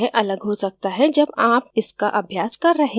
यह अलग हो सकता है जब आप इसका अभ्यास कर रहे हों